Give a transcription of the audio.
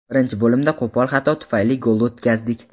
Birinchi bo‘limda qo‘pol xato tufayli gol o‘tkazdik.